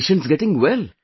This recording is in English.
Are patients getting well